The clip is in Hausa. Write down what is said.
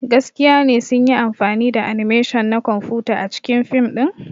Gaskiya ne sun yi amfani da animation na kwamfuta a cikin fim ɗin.